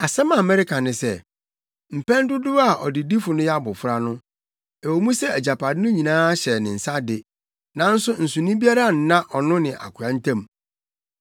Asɛm a mereka ne sɛ, mpɛn dodow a ɔdedifo no yɛ abofra no, ɛwɔ mu sɛ agyapade no nyinaa hyɛ ne nsa de, nanso nsonoe biara nna ɔno ne akoa ntam.